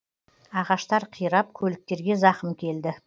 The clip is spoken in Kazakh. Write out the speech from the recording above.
ағаштар қирап көліктерге зақым келді